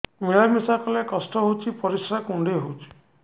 ମିଳା ମିଶା କଲେ କଷ୍ଟ ହେଉଚି ପରିସ୍ରା କୁଣ୍ଡେଇ ହଉଚି